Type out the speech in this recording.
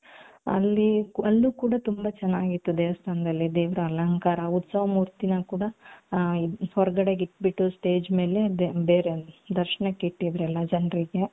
ಅಲ್ಲಿ ಅಲ್ಲಿ ಕೂಡ ತುಂಬಾ ಚೆನ್ನಾಗಿತ್ತು ದೇವಸ್ಥಾನದಲ್ಲಿ ದೇವರ ಅಲಂಕಾರ ಉತ್ಸವ ಮೂರ್ತಿನ ಕೂಡ ಹ ಹೊರಗಡೆ ಇಟ್ಬಿಟ್ಟು stage ಮೇಲೆ ದೇವರ ದರ್ಶನಕ್ಕೆ ಇಟ್ಟಿದ್ರಲ್ಲ ಜನರಿಗೆ .